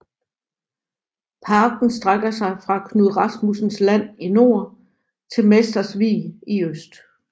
Parken strækker sig fra Knud Rasmussens land i nord til Mesters Vig i øst